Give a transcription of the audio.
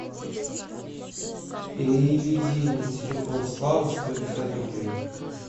переведи на телефон славы сто пятьдесят рублей